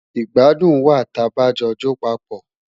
Igbàdùn wa tà bá jo jọ pápọ